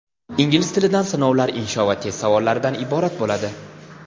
Ingliz tilidan sinovlar insho va test savollaridan iborat bo‘ladi.